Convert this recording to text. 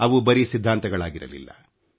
ಅವು ಬರೀ ಸಿದ್ಧಾಂತಗಳಾಗಿರಲಿಲ್ಲ